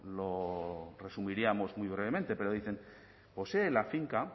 lo resumiríamos muy brevemente pero dicen poseen la finca